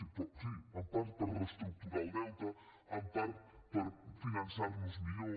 sí però sí en part per reestructurar el deute en part per finançar nos millor